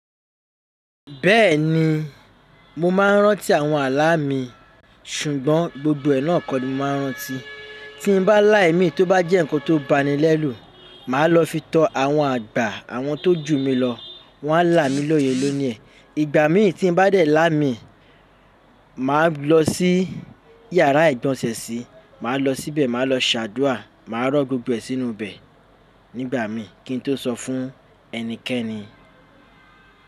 Bẹ́ẹ̀ni, mo máa ń rántí àwọn àlà mi, ṣùgbọ́n gbogbo ẹ̀ ná kọ ni mo máa ń rántí. Tí n bá lá imí tó bá jẹ́ nǹkan tó bani lẹ́rù, màá lọ fi tọ àwọn àgbà àwọn tó jù mí lọ, wọ́n á là mí lóyè lóniẹ̀. Ìgbà mìí tí n bá dẹ̀ láì mí, màá lọ sí yàrá ìgbọ̀nsẹ̀ sí, màá lọ síbẹ̀ màá lọ ṣàdúrà, màá rọ́ gbogbo ẹ̀ sínú bẹ̀ nígbà míi kí n tó sọ fún ẹnikẹ́ni.